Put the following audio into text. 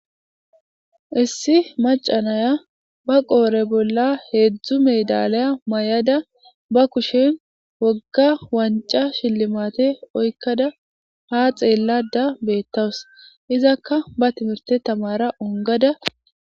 Issi macanaya ba qoore bolla heedzdzu medalaya may7ada ba kushen wogga wanca shillimate oykkada ha xeellada beettawus izakka ba timirte tamara ongada.